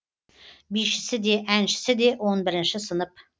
бишісі де әншісі де он бірінші сынып